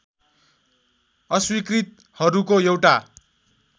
अस्वीकृतहरूको एउटा